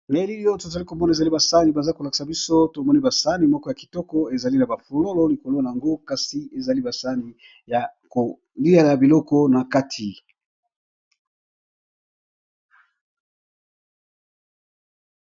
Na elili oyo tozokomona eza ba sahani tomoni ba sahani ezali na ba fololo kasi ezali ba sahani yakoliya biloko nati.